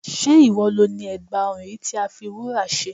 Sé ìwọ lo ni ègbà ọrùn yìí tí a fi wúrà ṣe?